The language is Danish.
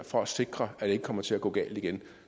for at sikre at det ikke kommer til at gå galt igen